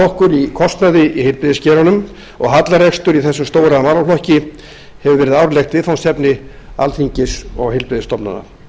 okkur í kostnaði í heilbrigðisgeiranum og hallarekstur í þessum stóra málaflokki hefur verið árlegt viðfangsefni alþingis og heilbrigðisstofnana